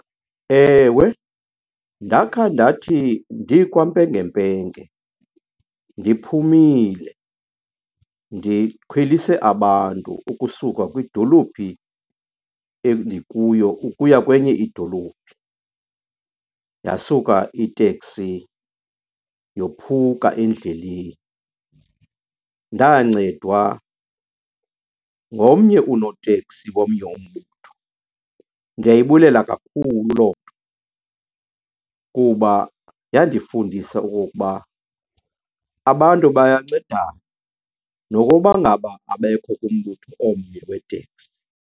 Ewe, ndakha ndathi ndikwampengempenge, ndiphumile, ndikhwelise abantu ukusuka kwidolophi endikuyo ukuya kwenye idolophi, yasuka iteksi yophuka endleleni. Ndancedwa ngomnye unoteksi womnye umbutho. Ndiyayibulala kakhulu loo nto kuba yandifundisa okokuba abantu bayancedana nokokuba ngaba abekho kumbutho omnye weeteksi.